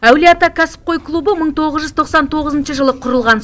әулие ата кәсіпқой клубы мың тоғыз жүз тоқсан тоғызыншы жылы құрылған